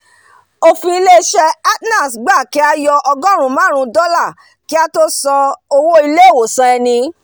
òfin titun ilé isé atnals gba kí á yọ ọgóòrún máàrún dólà kí á tó san owó ilé ìwòsàn ẹni